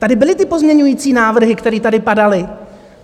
Tady byly ty pozměňovací návrhy, které tady padaly.